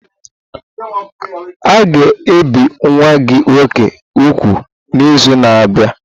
A ga-ebi nwa gị nwoke úgwù n'izu na-abịa?